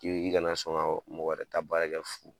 K'i i kana sɔn ka mɔgɔ wɛrɛ ta baarakɛ fu.